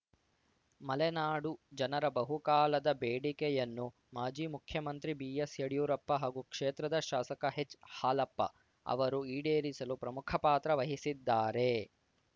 ಮಲೆನಾಡು ಜನರ ಬಹುಕಾಲದ ಬೇಡಿಕೆಯನ್ನು ಮಾಜಿ ಮುಖ್ಯಮಂತ್ರಿ ಬಿಎಸ್‌ ಯಡಿಯೂರಪ್ಪ ಹಾಗೂ ಕ್ಷೇತ್ರದ ಶಾಸಕ ಹೆಚ್‌ಹಾಲಪ್ಪ ಅವರು ಈಡೇರಿಸಲು ಪ್ರಮುಖ ಪಾತ್ರ ವಹಿಸಿದ್ದಾರೆ